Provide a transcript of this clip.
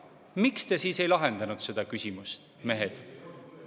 Miks te siis ei lahendanud seda küsimust, mehed?